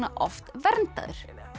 oft verndaður